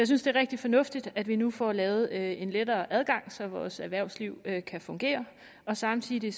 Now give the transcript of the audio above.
synes det er rigtig fornuftigt at vi nu får lavet en lettere adgang så vores erhvervsliv kan kan fungere samtidig